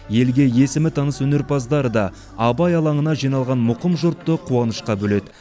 елге есімі таныс өнерпаздар да абай алаңына жиналған мұқым жұртты қуанышқа бөледі